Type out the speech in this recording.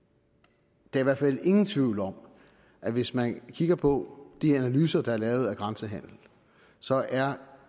der er i hvert fald ingen tvivl om at hvis man kigger på de analyser der er lavet af grænsehandel så er